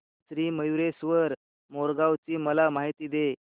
श्री मयूरेश्वर मोरगाव ची मला माहिती दे